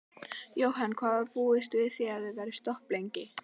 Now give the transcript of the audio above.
Jóhann: Hvað búist þið við að vera stopp lengi?